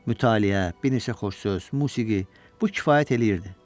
Mütaliə, bir neçə qoz-qoz musiqi, bu kifayət eləyirdi.